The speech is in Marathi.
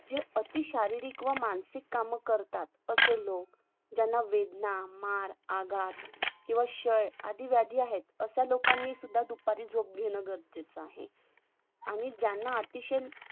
जे अती शारीरिक आणी मानसिक काम करतात अशे लोक ज्यांना वेदना मार अपघात किंवा क्षय आधी व्याधी आहेत अश्या लोकांनी सुद्धा झोप घेणं गरजेचं आहे आणि ज्यांना अतिशय